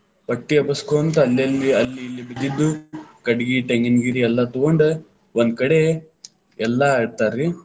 ಪಟ್ಟಿ ಎಬಸ್ಕೊಂತ ಅಲ್ಲಲ್ಲಿ, ಅಲ್ಲಿ ಇಲ್ಲಿ ಬಿದ್ದಿದ್ವ ಕಟ್ಟಗಿ, ಟೆಂಗಿನಗರಿ ಎಲ್ಲಾ ತಗೊಂಡ, ಒಂದಕಡೆ ಎಲ್ಲಾ ಇಡ್ತಾರ್ರಿ,